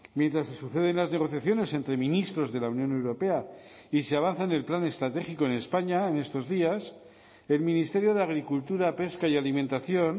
mientras se suceden las negociaciones entre ministros de la unión europea y se avanza en el plan estratégico en españa en estos días el ministerio de agricultura pesca y alimentación